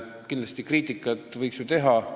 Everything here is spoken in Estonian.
Kindlasti võib ju kriitikat teha.